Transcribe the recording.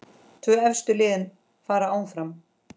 Tvö efstu liðin fara áfram.